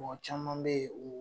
Mɔgɔ caman be ye o